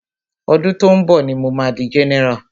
Ọdún tó ń bọ̀ ní mo ma di general.